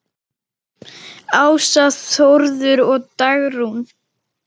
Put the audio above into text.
Ása, Þórður og Dagrún.